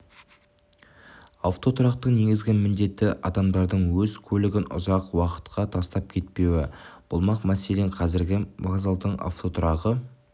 автотұрақтың негізгі міндеті адамдардың өз көлігін ұзақ уақытқа тастап кетпеуі болмақ мәселен қазіргі вокзалдың автотұрағы